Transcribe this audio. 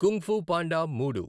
kung fu panda మూడు